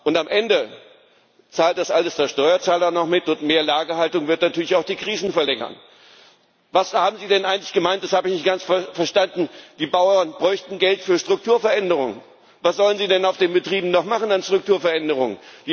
war. Und am Ende zahlt das alles der Steuerzahler noch mit, und mehr Lagerhaltung wird natürlich auch die Krisen verlängern. Was haben Sie denn eigentlich gemeint das habe ich nicht ganz verstanden die Bauern bräuchten Geld für Strukturveränderung? Was sollen sie denn auf den Betrieben noch machen an Strukturveränderungen?